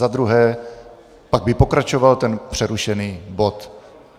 Za druhé, pak by pokračoval ten přerušený bod.